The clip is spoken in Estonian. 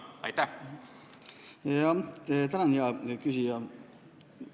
Tänan, hea küsija!